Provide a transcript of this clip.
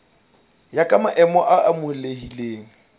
ya ka maemo a amohelehileng